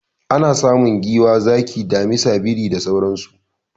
Ana samun giwa, zaki, damisa, biri da sauransu.